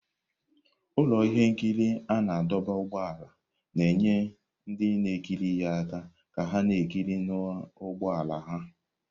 Ụlọ ihe nkiri a na-adọba ụgbọala na-enye ndị na-ekiri ha aka ka ha na-ekiri n'ụgbọ ala ha.